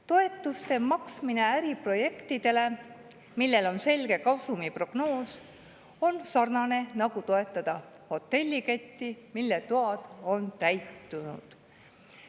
Toetuste maksmine äriprojektidele, millel on selge kasumiprognoos, on sarnane, nagu toetada hotelliketti, mille toad on täitunud.